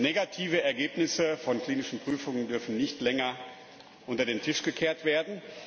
Negative Ergebnisse von klinischen Prüfungen dürfen nicht länger unter den Tisch gekehrt werden.